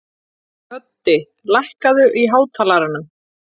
Höddi, lækkaðu í hátalaranum.